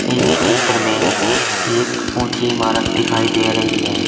इस चित्र में एक ऊंची इमारत दिखाई दे रही है।